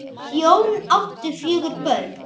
Þau hjón áttu fjögur börn.